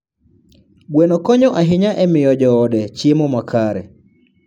Gweno konyo ahinya e miyo joode chiemo makare.